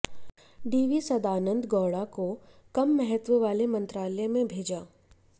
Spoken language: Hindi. डी वी सदानंद गौड़ा को कम महत्त्व वाले मंत्रालय में भेजा